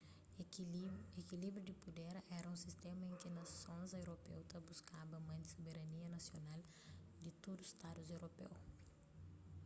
ekilíbriu di puder éra un sistéma en ki nasons europeu ta buskaba mante soberania nasional di tudu stadus europeu